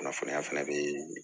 Kunnafoniya fana bɛ